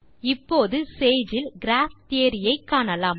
இப்போது சேஜ் இல் graph theory ஐ காணலாம்